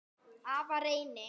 Afa Reyni.